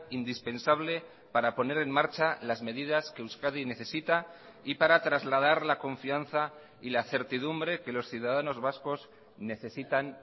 indispensable para poner en marcha las medidas que euskadi necesita y para trasladar la confianza y la certidumbre que los ciudadanos vascos necesitan